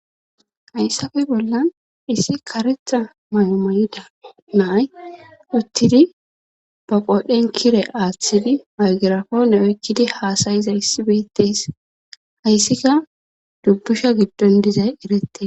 Hayssafe bollan issi karetha may7o may7ida naay uttidi ba qoodhen kire aaththidi maygirako nawekkidi haasayiza issi beettes hayssika dubbusha giddon dizay erettes.